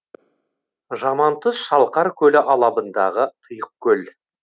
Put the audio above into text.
жамантұз шалқар көлі алабындағы тұйық көл